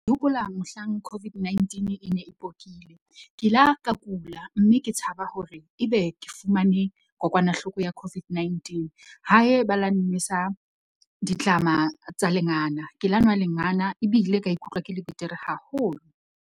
Ke hopola mohlang COVID-19 e ne e pokile. Ke la ka kula, mme ke tshaba hore ebe ke fumane kokwanahloko ya COVID-19, hae ba la nnwesa ditlama tsa lengana, ke la nwa lengana ebile ka ikutlwa ke le betere haholo.